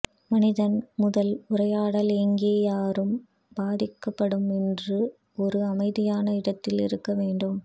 மனிதன் முதல் உரையாடல் எங்கே யாரும் பாதிக்கப்படும் என்று ஒரு அமைதியான இடத்தில் இருக்க வேண்டும்